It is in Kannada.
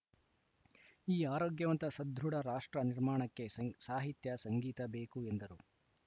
ಈ ಆರೋಗ್ಯವಂತ ಸದೃಢ ರಾಷ್ಟ್ರ ನಿರ್ಮಾಣಕ್ಕೆ ಸಾನ್ ಸಾಹಿತ್ಯ ಸಂಗೀತ ಬೇಕು ಎಂದರು